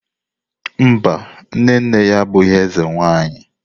Mba, nne nne ya abụghị eze nwanyi.